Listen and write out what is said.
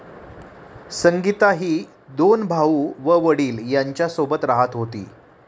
संगीता ही दोन भाऊ व वडील यांच्यासोबत राहत होती.